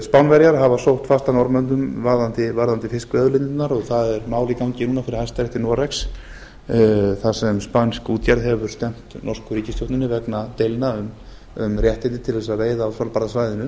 spánverjar hafa sótt fast að norðmönnum varðandi fiskveiðiauðlindirnar og það er mál í gangi núna fyrir hæstarétti noregs þar sem spænsk útgerð hefur stefnt norsku ríkisstjórninni vegar deilna um réttindi til þess að veiða á svalbarðasvæðinu